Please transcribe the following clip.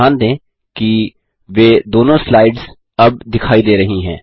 ध्यान दें कि वे दोनों स्लाइड्स अब दिखाई दे रही हैं